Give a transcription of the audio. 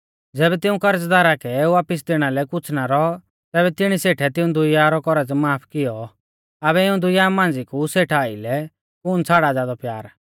ज़ैबै तिऊं करज़दारा कै वापिस दैणा लै कुछ़ ना रौ तैबै तिणी सेठै तिऊं दुइया रौ कौरज़ माफ किऔ आबै इऊं दुई मांझ़िया कु सेठा आइलै कुण छ़ाड़ा ज़ादौ प्यार